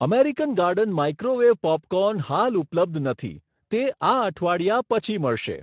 American garden microwave popcorn હાલ ઉપલબ્ધ નથી, તે આ અઠવાડિયા પછી મળશે.